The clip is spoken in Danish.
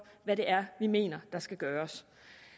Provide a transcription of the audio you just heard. hvad det er vi mener der skal gøres